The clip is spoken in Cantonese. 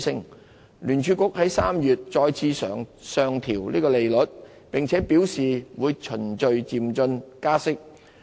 美國聯邦儲備局在3月再次上調利率，並表示會循序漸進加息。